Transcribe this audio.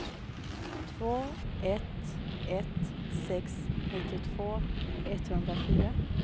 två ett ett sex nittiotvå etthundrafyra